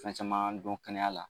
Fɛn caman don kɛnɛya la